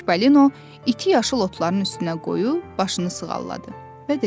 Çipalino iti yaşıl otların üstünə qoyub başını sığalladı və dedi: